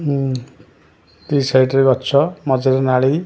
ହୁଁ the side ରେ ଗଛ ମଝିରେ ନାଳି--